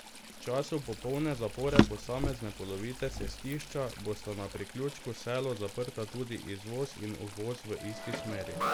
V času popolne zapore posamezne polovice cestišča bosta na priključku Selo zaprta tudi izvoz in uvoz v isti smeri.